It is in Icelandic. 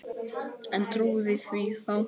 En trúði því þá.